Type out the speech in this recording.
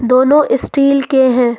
दोनों स्टील के हैं।